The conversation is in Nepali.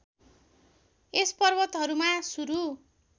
यस पर्वतहरूमा सुरू